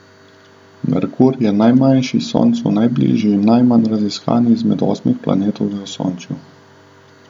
Merkur je najmanjši, Soncu najbližji in najmanj raziskan izmed osmih planetov v Osončju.